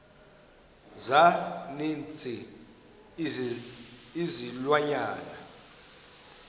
za ninzi izilwanyana